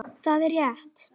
Það er rétt.